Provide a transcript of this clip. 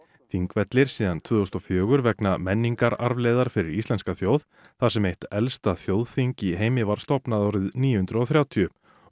Þingvellir síðan tvö þúsund og fjögur vegna menningararfleifðar fyrir íslenska þjóð þar sem eitt elsta þjóðþing í heimi var stofnað árið níu hundruð og þrjátíu